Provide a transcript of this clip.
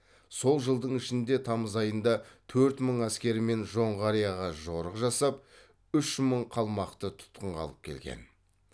сол жылдың шілде тамыз айында төрт мың әскермен жоңғарияға жорық жасап үш мың қалмақты тұтқынға алып келген